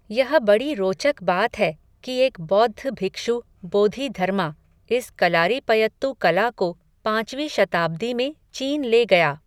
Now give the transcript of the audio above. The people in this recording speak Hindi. यह बड़ी रोचक बात है कि एक बौद्ध भिक्षु बोधि धर्मा, इस कलारीपयत्तु कला को, पॉंचवीं शताब्दी में, चीन ले गया